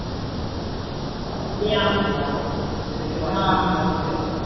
ਆਹੋ ਕਿੰਨਾ ਕੁੱਝ, ਵਿਸ਼ਵਾਸ਼ ਵੀ ਕਿੱਨਾ ਕੁੱਝ ਹੈ ਨਾ,